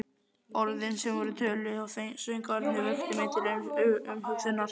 Orðin, sem töluð voru, og söngvarnir, vöktu mig til umhugsunar.